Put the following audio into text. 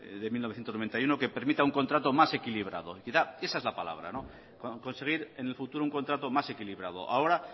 de mil novecientos noventa y uno que permita un contrato más equilibrado esa es la palabra conseguir en el futuro un contrato más equilibrado ahora